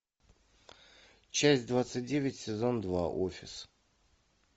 часть двадцать девять сезон два офис